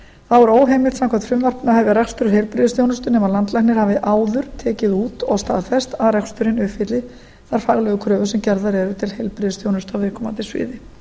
þá er óheimilt samkvæmt frumvarpinu að hefja rekstur heilbrigðisþjónustu nema landlæknir hafi áður tekið út og staðfest að reksturinn uppfylli þær faglegu kröfur sem gerðar eru til heilbrigðisþjónustu á viðkomandi sviði